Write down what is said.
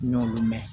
N y'olu mɛn